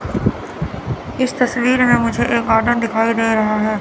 इस तस्वीर में मुझे एक गार्डन दिखाई दे रहा है।